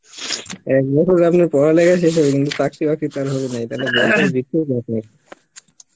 এক বছর থাকলে পড়ালেখা শেষ হবে চাকরি বাকরি তো আর হবে নাই তাহলে অব নেই